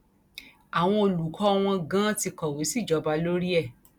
àwọn olùkọ wọn ganan ti kọwé sí ìjọba lórí ẹ